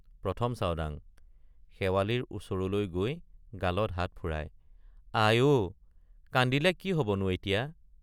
১ম চাওডাং— শেৱালিৰ ওচৰলৈ গৈ গালত হাত ফুৰায় আই—অ কান্দিলে কি হবনো এতিয়া।